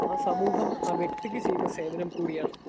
Speaker 2 ആ സമൂഹം ആ വ്യക്തിക്ക് ചെയ്യുന്ന സേവനം കൂടിയാണ്.